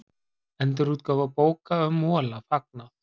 Endurútgáfu bóka um Mola fagnað